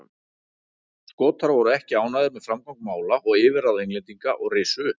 Skotar voru ekki ánægðir með framgang mála og yfirráð Englendinga og risu upp.